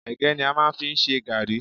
Ẹ̀gẹ́ ni a máa ń fi ń ṣe garri.